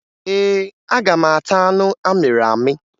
Ee, aga m ata anụ amịrị amị.